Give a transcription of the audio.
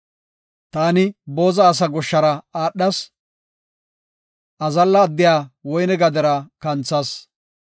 Taani booza asa goshshara aadhas; azalla addiya woyne gadera kanthas.